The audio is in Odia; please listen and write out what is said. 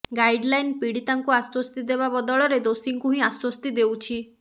ଗାଇଡ୍ଲାଇନ ପୀଡ଼ିତାଙ୍କୁ ଆଶ୍ୱସ୍ତି ଦେବା ବଦଳରେ ଦୋଷୀଙ୍କୁ ହିଁ ଆଶ୍ୱସ୍ତି ଦେଉଛି